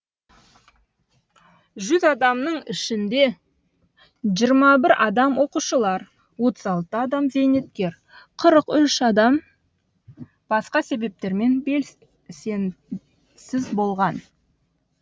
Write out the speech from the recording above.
жүз адамның ішінде жиырма бір адам оқушылар отыз алты адам зейнеткер қырық үш адам басқа себептермен белсенсіз болған